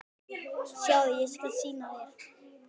Sjáðu, ég skal sýna þér